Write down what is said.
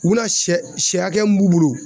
U bɛna sɛ sɛ hakɛya mun b'u bolo.